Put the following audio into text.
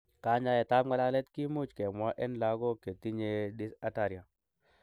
Kanyaetab ng'alalet kimuch kemwa en logok chetinye dysarthria.